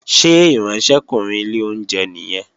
Ṣé ìránṣẹ́kùnrin ilé oúnjẹ nìyẹn?